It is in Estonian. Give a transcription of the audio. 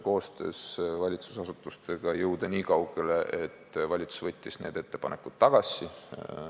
Koostöös valitsusasutustega õnnestus meil jõuda niikaugele, et valitsus võttis need ettepanekud tagasi.